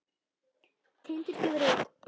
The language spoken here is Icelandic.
Tindur gefur út.